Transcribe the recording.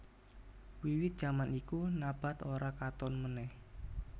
Wiwit jaman iku Nabath ora katon meneh